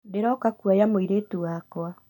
Ndĩroka kũoya mũiritu wakwa